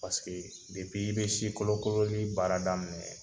Paseke i bɛ si kolo kololi baara daminɛ